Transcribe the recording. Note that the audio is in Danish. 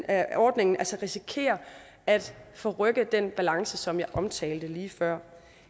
af ordningen altså risikerer at forrykke den balance som jeg omtalte lige før